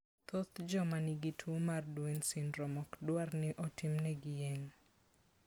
Thoth joma nigi tuwo mar Duane syndrome ok dwar ni otimnegi yeng'o.